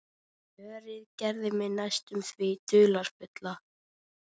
Slörið gerði mig næstum því dularfulla.